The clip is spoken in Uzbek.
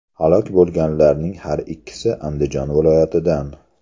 Halok bo‘lganlarning har ikkisi Andijon viloyatidan.